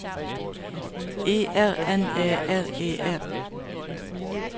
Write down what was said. E R N Æ R E R